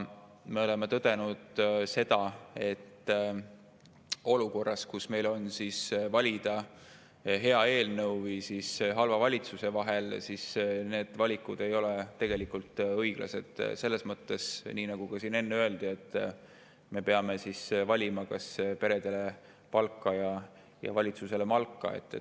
Me oleme tõdenud seda, et olukorras, kus meil on valida hea eelnõu ja halva valitsuse vahel, ei ole need valikud tegelikult õiglased, selles mõttes, nii nagu siin enne öeldi, et me peame valima, kas peredele palka või valitsusele malka.